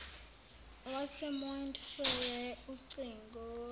wasemount frere ucingo